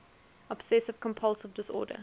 obsessive compulsive disorder